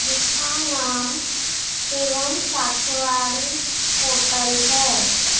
जिसका नाम शिवम साखेवाड़ी होटल है।